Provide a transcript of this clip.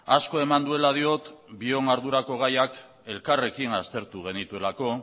asko eman duela diot bion ardurako gaiak elkarrekin aztertu genituelako